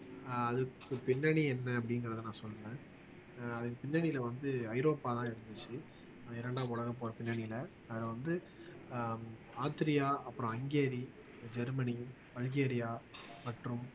ஆஹ் அதுக்கு பின்னணி என்ன அப்படிங்கிறதை நான் சொல்றேன் அதன் பின்னணியில வந்து ஐரோப்பாதான் இருந்துச்சு இரண்டாம் உலகப்போர் பின்னணியில அதுல வந்து ஆஹ் ஆத்ரியா அப்புறம் ஹங்கேரி ஜெர்மனி பல்கேரியா மற்றும்